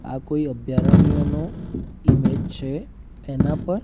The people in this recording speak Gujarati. આ કોઈ અભ્યારણ્યનો ઇમેજ છે એના પર--